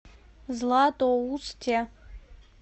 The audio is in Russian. златоусте